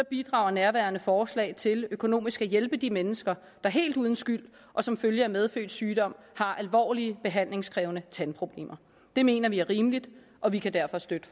bidrager nærværende forslag til økonomisk at hjælpe de mennesker der helt uden skyld og som følge af medfødt sygdom har alvorlige behandlingskrævende tandproblemer det mener vi er rimeligt og vi kan derfor støtte